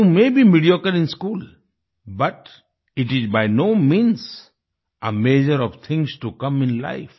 you may be mediocre in school but it is by no means a major of things to come in life